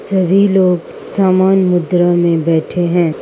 सभी लोग सामान मुद्रा में बैठे हैं।